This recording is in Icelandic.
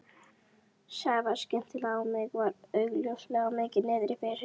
Sævar skyndilega í mig og var augljóslega mikið niðri fyrir.